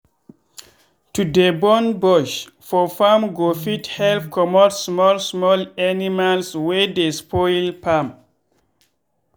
to dey burn bush for farm go fit help comot small small animals wey dey spoil farm.